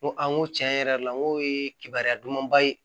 N ko a n ko tiɲɛ yɛrɛ la n ko ye kibaruya dumanba ye